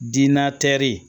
Diina